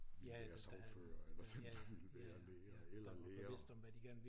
Ville være sagfører eller dem der ville læger eller lærere